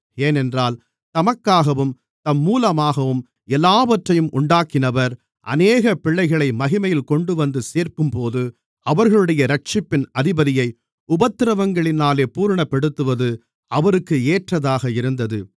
ஏனென்றால் தமக்காகவும் தம்மூலமாகவும் எல்லாவற்றையும் உண்டாக்கினவர் அநேக பிள்ளைகளை மகிமையில் கொண்டுவந்து சேர்க்கும்போது அவர்களுடைய இரட்சிப்பின் அதிபதியை உபத்திரவங்களினாலே பூரணப்படுத்துவது அவருக்கு ஏற்றதாக இருந்தது